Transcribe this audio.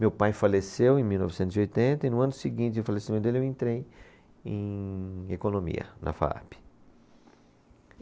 Meu pai faleceu em mil novecentos e oitenta e no ano seguinte ao falecimento dele eu entrei em economia, na Faape.